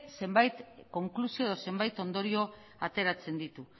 zenbait konklusio edo zenbait ondorio ateratzen ditu